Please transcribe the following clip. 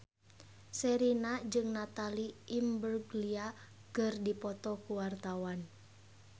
Sherina jeung Natalie Imbruglia keur dipoto ku wartawan